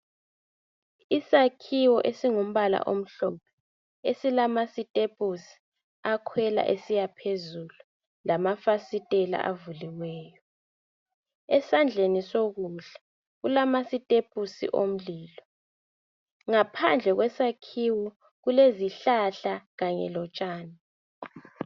Isakhiwo esingumbala omhlophe esilamasitepusi akhwela esiyaphezulu lamafasitela avuliweyo. Esandleni sokudla kulama sitepusi omlilo ngaphandle kwesakhiwo kulezihlahla kanye lotshani.